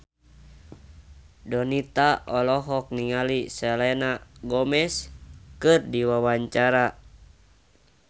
Donita olohok ningali Selena Gomez keur diwawancara